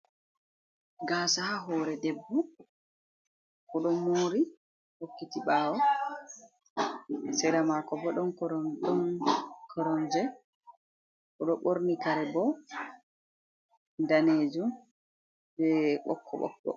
Gasa ha hore debbo oɗo mori hokkiti ɓawo. Sera mako bo ɗon koromje oɗo ɓorni kare bo danejum be ɓokko-ɓokko.